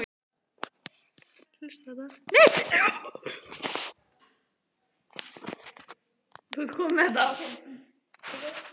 Skot í slá!